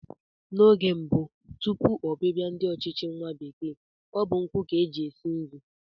N'oge gboo tupu ọbịbịa ndị ọchịchị nwa bekee, ọ bụ nkụ ka e ji esi nri